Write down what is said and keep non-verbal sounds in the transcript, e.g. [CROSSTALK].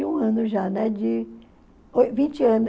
e um ano já, né? De... [UNINTELLIGIBLE] vinte anos